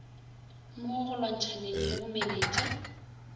mo go lwantshaneng le bomenetsa